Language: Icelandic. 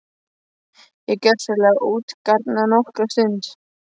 Ég er gjörsamlega utangarna nokkra stund.